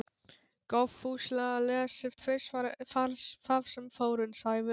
Góðfúslega lesið tvisvar það sem Þórunn sagði.